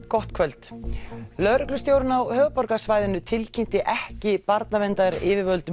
gott kvöld lögreglustjórinn á höfuðborgarsvæðinu tilkynnti ekki barnaverndaryfirvöldum